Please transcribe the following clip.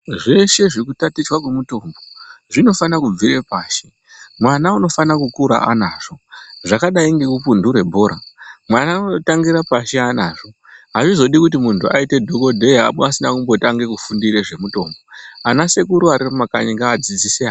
Zveshe zvekutatichwa kwemitombo zvinofanire kubvire pashi mwana unofana kukure anazvo, zvakadai ngekupundure bhora mwana unototangire pashi anazvo azvizodi kuti muntu aite dhokodheya asina kumbotange kufundire zvemitombo anasekuru arimumakanyi ngaadzidzise ana.